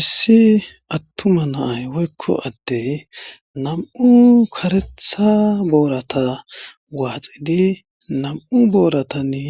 issi attuma na'ay woykko addey nam'u kareththa booratta waxiidi nam'u booratannne